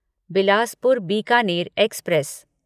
Bilaspur Bikaner express